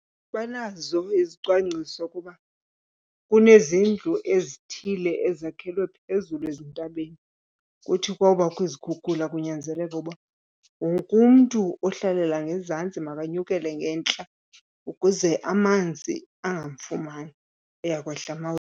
Banazo izicwangciso ukuba kunezindlu ezithile ezakhelwe phezulu ezintabeni kuthi kwawubaho izikhukhula kunyanzeleke ukuba wonke umntu ohlalela ngezantsi makanyukele ngentla ukuze amanzi angamfumani, uya kwehla uma .